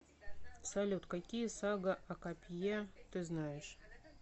салют какие сага о копье ты знаешь